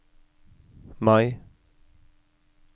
Mai